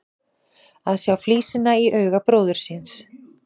Að sjá flísina í auga bróður síns